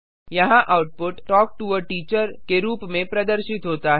यहाँ output talk to a teacher के रूप में प्रदर्शित होता है